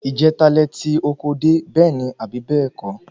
Ìjeta lẹ ti oko dé, bẹ́ẹ̀ní abi bẹ́ẹ̀kọ́?